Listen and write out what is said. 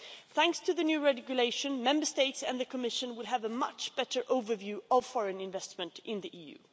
Thanks to the new regulation, Member States and the Commission will have a much better overview of foreign investment in the EU.